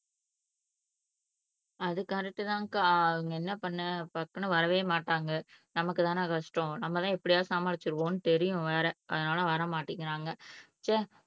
அது கரெக்ட் தான் அக்கா என்ன பண்ண டக்குனு வரவே மாட்டாங்க நமக்கு தானே கஷ்டம் நம்ம தான் எப்படியாவது சமாளிச்சிருவோம்னு தெரியும் வேற அதனால வர மாட்டேங்கிறாங்க ச்ச